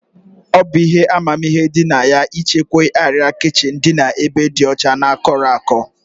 Ọ bụ ihe amamihe dị na ya ịchekwa arịa kichin n'ebe dị ọcha na kọrọ akọ